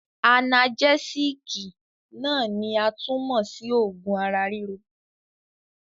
Anagẹ́sííkì náà ni a tún mọ̀ sí oogun ara-ríro.